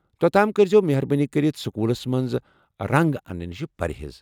توٚت تام کٔرۍزٮ۪وٕ مہربٲنی كرِتھ سوٚکوٗلس منٛز رنٛگ انٛنہٕ نِشہِ پرہیز۔